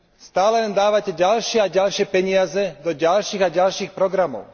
Stále len dávate ďalšie a ďalšie peniaze do ďalších a ďalších programov.